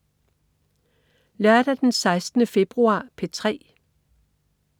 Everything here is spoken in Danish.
Lørdag den 16. februar - P3: